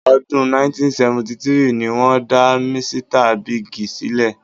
Ọdún 1973 ni wọ́n dá Misita Bíìgì sílẹ̀.